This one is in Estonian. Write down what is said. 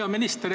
Hea minister!